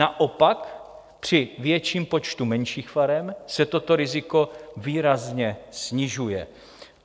Naopak při větším počtu menších farem se toto riziko výrazně snižuje.